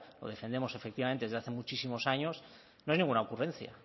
lo defendemos efectivamente desde hace muchísimos años no es ninguna ocurrencia